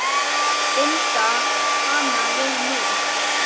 Binda hana við mig.